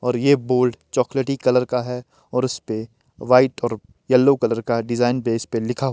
और ये बोर्ड चॉकलेटी कलर का है और उस पे वाइट और येलो कलर का डिजाइन बेस पे लिखा --